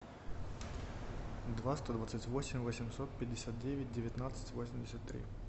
два сто двадцать восемь восемьсот пятьдесят девять девятнадцать восемьдесят три